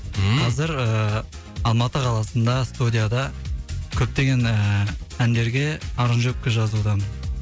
ммм қазір ыыы алматы қаласында студияда көптеген ііі әндерге аранжировка жазудамын